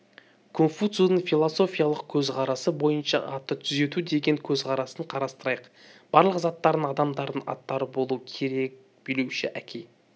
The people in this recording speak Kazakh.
кунфуцзыдың философиялық көзқарасы бойынша атты түзету деген көзқарасын қарастырайық барлық заттардың адамдардың аттары болу керек билеуші әке